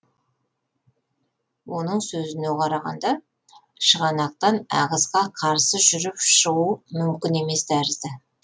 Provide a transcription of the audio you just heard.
оның сөзіне қарағанда шығанақтан ағысқа қарсы жүріп шығу мүмкін емес тәрізді